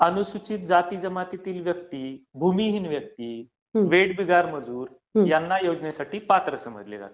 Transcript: अनुसूचित जातीजमातील व्यक्ती, भूमिहीन व्यक्ती, वेठबिगार मजूर यांना ह्या योजनेसाठी पात्र समजले जाते.